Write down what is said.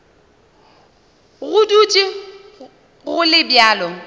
go dutše go le bjalo